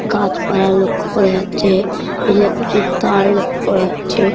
গাছপালা লক্ষ্য করা যাচ্ছে ইলেকট্রিক তার লক্ষ্য করা যাচ্ছে।